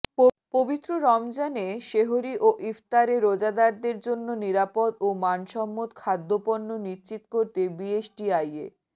পবিত্র রমজানে সেহরি ও ইফতারে রোজাদারদের জন্য নিরাপদ ও মানসম্মত খাদ্যপণ্য নিশ্চিত করতে বিএসটিআইয়ে